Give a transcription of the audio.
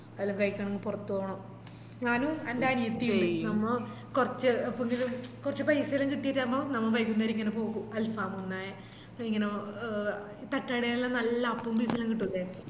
അതെല്ലാം കയ്ക്കാണെങ്കി പൊറത്ത്പോണം ഞാനും എൻ്റെ അനിയത്തിയെ നമ്മള് കൊർച് ഫുടി കൊർച് paisa എല്ലം കിട്ടിറ്റാവുമ്പോ നമ്മ വൈകുന്നേരം ഇങ്ങനെ പോകും alfam ഉണ്ണാൻ ഇങ്ങനെ ഒ ഒ തട്ടുകടേലെല്ലാം നല്ല അപ്പോം beef എല്ലം കിട്ടൂലെ